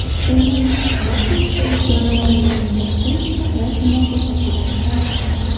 Uni Battersea jonivorlarni vaqtincha saqlash muassasasidan olishgan.